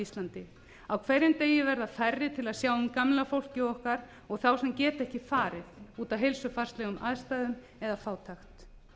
íslandi á hverjum degi verða færri til að sjá um gamla fólkið okkar og þá sem geta ekki farið út af heilsufarslegum aðstæðum eða fátækt